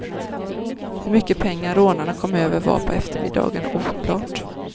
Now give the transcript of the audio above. Hur mycket pengar rånarna kom över var på eftermiddagen oklart.